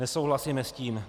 Nesouhlasíme s tím.